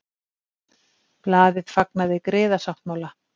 Blaðið fagnaði griðasáttmála